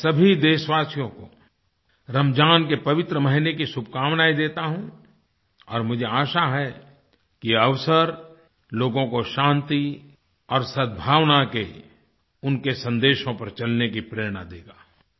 मैं सभी देशवासियों को रमज़ान के पवित्र महीने की शुभकामनाएँ देता हूँ और मुझे आशा है यह अवसर लोगों को शांति और सदभावना के उनके संदेशों पर चलने की प्रेरणा देगा